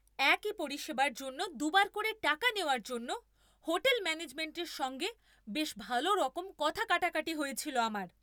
একই পরিষেবার জন্য দু'বার করে টাকা নেওয়ার জন্য হোটেল ম্যানেজমেণ্টের সঙ্গে বেশ ভালোরকম কথা কাটাকাটি হয়েছিল আমার।